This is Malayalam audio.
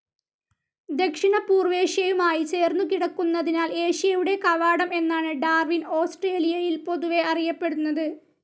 ദക്ഷിണപൂർവേഷ്യയുമായി ചേർന്നുകിടക്കുന്നതിനാൽ ഏഷ്യയുടെ കവാടം എന്നാണ് ഡാർവിൻ ഓസ്ട്രേലിയയിൽ പൊതുവെ അറിയപ്പെടുന്നത്.